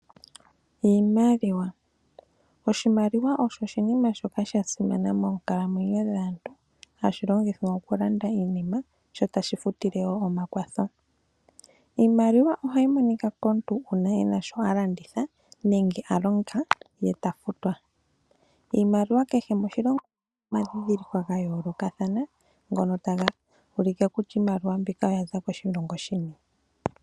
Oshimaliwa osho oshinima shoka shasimana moonkalamwenyo dhaantu hashi longithwa okulanda iinima sho tashi futile wo omakwatho. Iimaliwa ohayi monika komuntu uuna ena shoka alanditha nenge alonga ye tafutwa. Iimaliwa kehe moshilongo omuna omandhidhiliko ga yoolokathana ngono taga ulike kutya iimaliwa mbyono oyaza koshilongo shini.